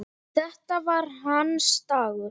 Þetta var hans dagur.